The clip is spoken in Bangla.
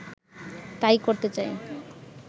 তাই করতে চাই